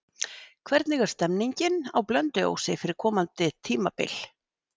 Hvernig er stemmingin á Blönduósi fyrir komandi tímabil?